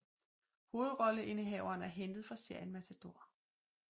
Hovedrolleindehaveren er hentet fra serien Matador